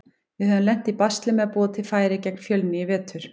Við höfum lent í basli með að búa til færi gegn Fjölni í vetur.